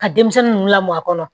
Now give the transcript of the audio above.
Ka denmisɛnnin ninnu lamɔ a kɔnɔ